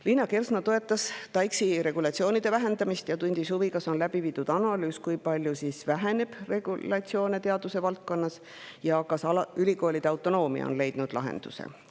Liina Kersna toetab TAIKS‑iga regulatsioonide vähendamist ja tundis huvi, kas on läbi viidud analüüs, kui palju siis teadusvaldkonna regulatsioonid vähenevad, ja kas ülikoolide autonoomia on leidnud lahenduse.